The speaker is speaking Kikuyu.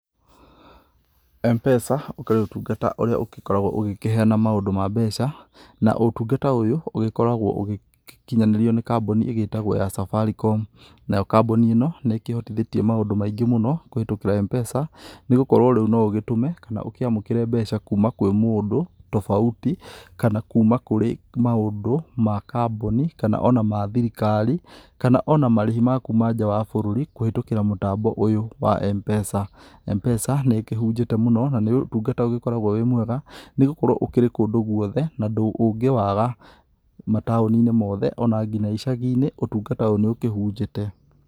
Mpesa ũkĩrĩ ũtungata ũrĩa ũgĩkoragwa ũkĩheana maũndũ ma mbeca na ũtungata ũyũ ũkoragwo ũgĩkinyanĩrio nĩ kambuni ĩtagwo ya Safaricom nayo kambuni ĩno nĩkĩhotithĩtie maũndũ maingĩ mũno kũhĩtũkĩra Mpesa nĩgũkorwa rĩũ noũgĩtũme kana ũkĩamũkĩre mbeca kuuma kwĩ mũndũ tofauti kana kuuma kũrĩ maũndũ ma kambuni kana mathirikari kana ona marĩhi ma kuuma nja ya bũrũri kũhĩtũkĩra mũtambo ũyũ wa Mpesa. Mpesa nĩkĩhunjĩte mũno na nĩũtungata ũkoragwo wĩ mwega nĩgũkorwa ũkĩrĩ kũndũ gwothe na ndũngĩ waga mataũninĩ wothe ona nginya icaginĩ ũtungata ũyũ nĩũkĩhunjĩte.